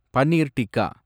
paneer tikka